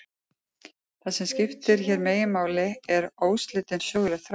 Það sem skiptir hér meginmáli er óslitin söguleg þróun.